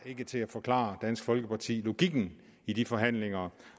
til at forklare dansk folkeparti logikken i de forhandlinger